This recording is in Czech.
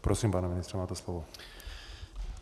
Prosím, pane ministře, máte slovo.